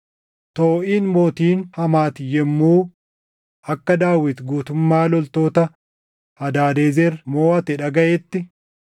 Tooʼiin mootiin Hamaati yommuu akka Daawit guutummaa loltoota Hadaadezer moʼate dhagaʼetti,